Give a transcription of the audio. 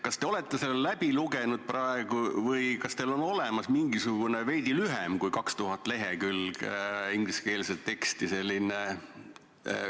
Kas te olete selle plaani läbi lugenud või on teil olemas mingisugune ülevaade, mis oleks veidi lühem kui 2000 lehekülge ingliskeelset teksti?